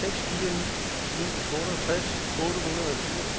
seks fire ni ni otteogtres otte hundrede og fire